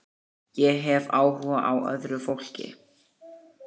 Ég hef áhuga á öðru fólki.